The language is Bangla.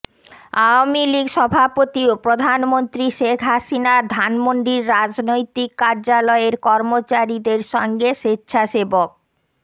আওয়ামী লীগ সভাপতি ও প্রধানমন্ত্রী শেখ হাসিনার ধানমন্ডির রাজনৈতিক কার্যালয়ের কর্মচারীদের সঙ্গে স্বেচ্ছাসেবক